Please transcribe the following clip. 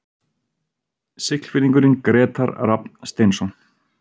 Siglfirðingurinn Grétar Rafn Steinsson